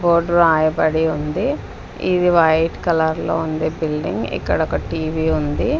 Board రాయబడి ఉంది ఇది వైట్ కలర్ లో ఉంది బిల్డింగ్ ఇక్కడ ఒక టీవీ ఉంది.